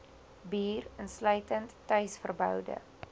bier insluitend tuisverboude